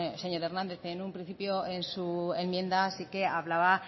señor hernández en un principio en su enmienda sí que hablaba